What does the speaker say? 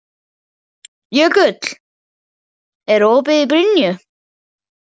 Jökull, er opið í Brynju?